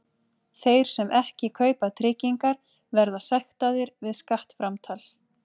Þeir sem ekki kaupa tryggingar verða sektaðir við skattframtal.